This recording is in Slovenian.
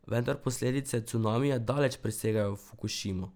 Vendar posledice cunamija daleč presegajo Fukušimo.